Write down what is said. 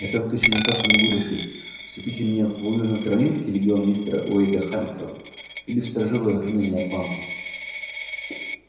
я только ещё никак не могу решить вступить ли мне в южно-каролинский легион мистера уэйда хэмптона или в сторожевое охранение атланты